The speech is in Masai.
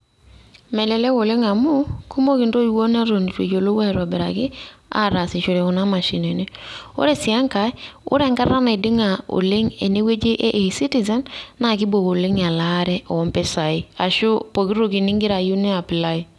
Melelek oleng amu kumok ntoiwuo neton eitu eyiolou aitobiraki atasishore kuna mashinini. Ore si enkae ore enkata naiding`a oleng ene wueji e e-citizen, naa keibok oleng elaare oo mpisai ashu poki toki ning`ira ayieu ni apply.